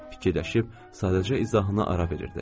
Fikirləşib sadəcə izahına ara verirdi.